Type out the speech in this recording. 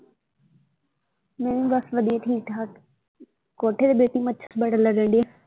ਮੈਂ ਵੀ ਬਸ ਵਧੀਆ ਠੀਕ ਠਾਕ ਕੋਠੇ ਤੇ ਬੈਠੀਂ ਮੱਛਰ ਬੜਾ ਲੜਨ ਡਯਾ।